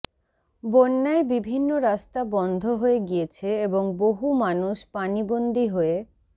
বন্যায় বিভিন্ন রাস্তা বন্ধ হয়ে গিয়েছে এবং বহু মানুষ পানিবন্দী হয়ে